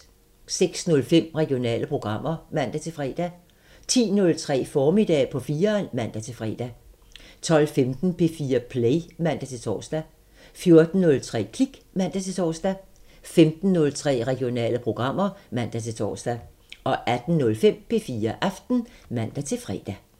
06:05: Regionale programmer (man-fre) 10:03: Formiddag på 4'eren (man-fre) 12:15: P4 Play (man-tor) 14:03: Klik (man-tor) 15:03: Regionale programmer (man-tor) 18:05: P4 Aften (man-fre)